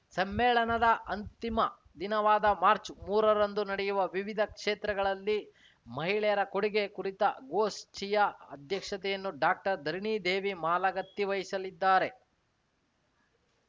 ಸಮ್ಮೇಳನದ ಅಂತಿಮ ದಿನವಾದ ಮಾರ್ಚ್ಮೂರರಂದು ನಡೆಯುವ ವಿವಿಧ ಕ್ಷೇತ್ರಗಳಲ್ಲಿ ಮಹಿಳೆಯರ ಕೊಡುಗೆ ಕುರಿತ ಗೋಷ್ಠಿಯ ಅಧ್ಯಕ್ಷತೆಯನ್ನು ಡಾಕ್ಟರ್ಧರಣಿದೇವಿ ಮಾಲಗತ್ತಿ ವಹಿಸಲಿದ್ದಾರೆ